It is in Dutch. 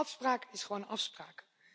Afspraak is gewoon afspraak.